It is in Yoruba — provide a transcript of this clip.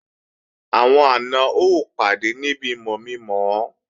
Àwọn àna ó pàdé níbi mọ̀mi-mọ̀ ọ